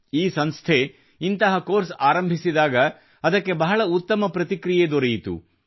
ಈ ಸಂಸ್ಥೆ ಇಂತಹ ಕೋರ್ಸ್ ಆರಂಭಿಸಿದಾಗ ಅದಕ್ಕೆ ಬಹಳ ಉತ್ತಮ ಪ್ರತಿಕ್ರಿಯೆ ದೊರೆಯಿತು